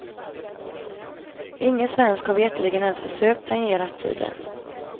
Ingen svensk har veterligen ens försökt tangera tiden.